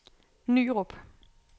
Nyrup